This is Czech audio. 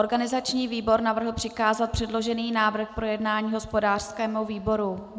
Organizační výbor navrhl přikázat předložený návrh k projednání hospodářskému výboru.